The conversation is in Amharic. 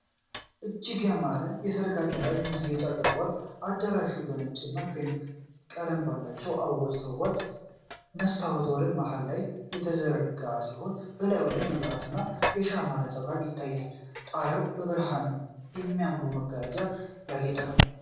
እጅግ ያማረ የሠርግ አዳራሽ ማስጌጫ ቀርቧል። አዳራሹ በነጭና ክሬም ቀለም ባላቸው አበባዎች ተውቧል። የመስታወት ወለል መሃል ላይ የተዘረጋ ሲሆን፣ በላዩ ላይ የመብራትና የሻማ ነጸብራቅ ይታያል። ጣሪያው በብርሃንና በሚያማምሩ መጋረጃዎች ያጌጠ ነው።